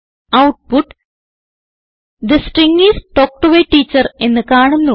output the string is talk to A teacher എന്ന് കാണുന്നു